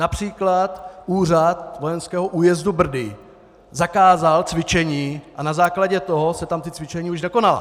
Například úřad vojenského újezdu Brdy zakázal cvičení a na základě toho se tam ta cvičení už nekonala!